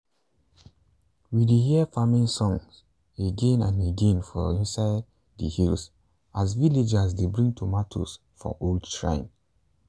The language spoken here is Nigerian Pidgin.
we dey hear farming song again and again for inside the hills as villagers dey bring tomatoes for old shrine.